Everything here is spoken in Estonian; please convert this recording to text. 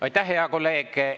Aitäh, hea kolleeg!